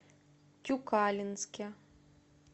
тюкалинске